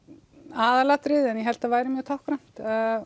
aðalatriði en ég held að það væri mjög táknrænt